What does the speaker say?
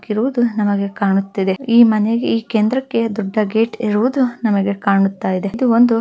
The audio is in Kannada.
ಇರುವುದು ನಮಗೆ ಕಾಣುತ್ತಿದೆ ಈ ಮನೆಗೆ ಈ ಕೇಂದ್ರಕ್ಕೆ ದೊಡ್ಡ ಗೇಟ್ ಇರುವುದು ನಮಗೆ ಕಾಣುತ್ತ ಇದೆ ಇದು ಒಂದು--